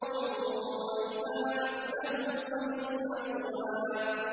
وَإِذَا مَسَّهُ الْخَيْرُ مَنُوعًا